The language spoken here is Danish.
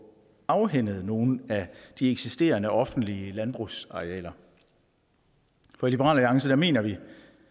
afhændet nogle af de eksisterende offentlige landbrugsarealer for i liberal alliance mener vi